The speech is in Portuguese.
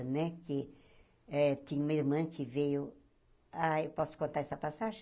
Né que eh tinha uma irmã que veio... ai posso contar essa passagem?